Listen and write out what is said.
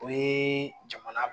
O ye jamana